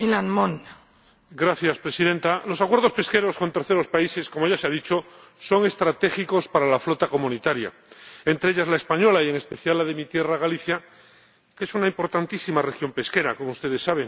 Señora Presidenta, los acuerdos pesqueros con terceros países, como ya se ha dicho, son estratégicos para la flota comunitaria ―entre ellas la española y, en especial, la de mi tierra, Galicia, que es una importantísima región pesquera, como ustedes saben―.